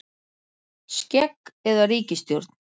Skegg eða ríkisstjórn